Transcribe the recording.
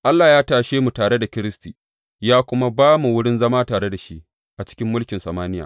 Allah ya tashe mu tare da Kiristi, ya kuma ba mu wurin zama tare da shi a cikin mulkin samaniya.